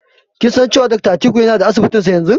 Kin san cewa Dakta Atiku yana da Asibitinsa yanzu?